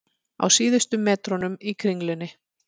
Á síðustu metrunum í Kringlunni